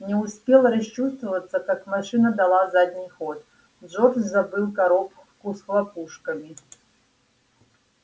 не успел расчувствоваться как машина дала задний ход джордж забыл коробку с хлопушками